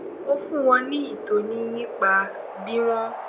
ó fún wọn ní itoni nípa bí wón